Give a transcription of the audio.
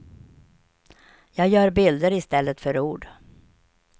Jag gör bilder i stället för ord.